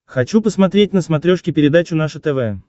хочу посмотреть на смотрешке передачу наше тв